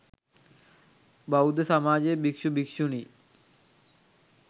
බෞද්ධ සමාජය භික්ෂු, භික්ෂුණී,